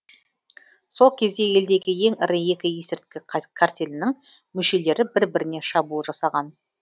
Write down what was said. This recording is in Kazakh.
сол кезде елдегі ең ірі екі есірткі картелінің мүшелері бір біріне шабуыл жасаған